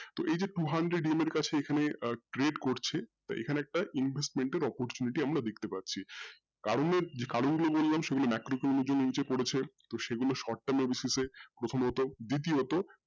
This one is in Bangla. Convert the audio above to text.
এই যে two hundred EMI এর কাছে এখানে trade করছে এখানে একটা investment এর opportunity আমরা দেখতে পাচ্ছি কারণ যেই পরিমান আমরা তো সেই গুলো short term এর basis প্রথমত দ্বিতীয়ত